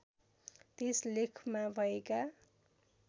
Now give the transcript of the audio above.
त्यस लेखमा भएका